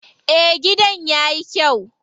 Eh, gidan yayi kyau.